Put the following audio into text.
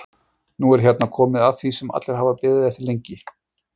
Nú er hérna komið að því sem allir hafa beðið eftir lengi.